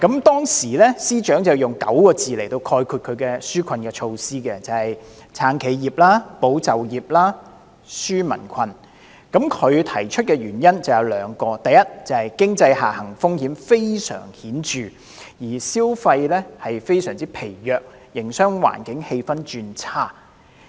當時司長用9個字概括其紓困措施："撐企業、保就業、紓民困"，他提出的原因有兩個，第一是經濟下行風險非常顯著，消費非常疲弱，營商環境氣氛轉差。